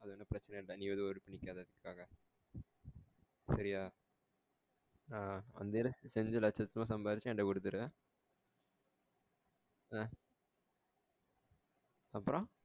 அது ஒன்னு பிரச்சனை இல்ல நீ எதும் worry பண்ணிக்காத அதுக்காக சேரியா ஆஹ் அஞ்சு லட்சத்தையும் சம்பாதிச்சி என்கிட்டே குடுத்திரு ஆஹ் அப்ரோ